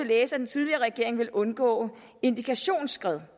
læse at den tidligere regering ville undgå indikationsskred